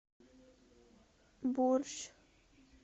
борщ